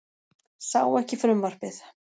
Sá ekki frumvarpið